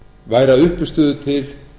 væri að uppistöðu til